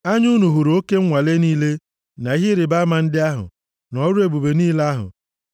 Anya unu hụrụ oke nwale niile, na ihe ịrịbama ndị ahụ, na ọrụ ebube niile ahụ.